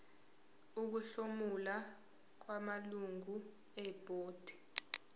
ukuhlomula kwamalungu ebhodi